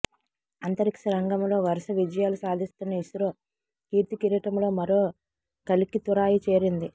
అంతరిక్షరంగంలో వరుస విజయాలు సాధిస్తున్న ఇస్రో కీర్తి కిరీటంలో మరో కలికితురాయి చేరింది